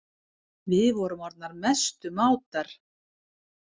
Við vorum orðnar mestu mátar.